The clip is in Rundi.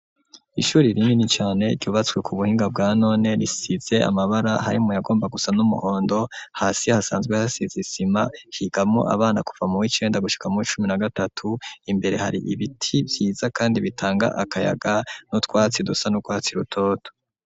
Ishuri rinini cane ryubatswe ku buhinga bwa none risize amabara harimwo ayagomba gusa n'umuhondo hasi hasanzwe hasize isima higamwo abana kuva mu w'icenda gushuka mu w'icumi na gatatu imbere hari ibiti vyiza kandi bitanga akayaga n'utwatsi dusa n'urwatsi rutoto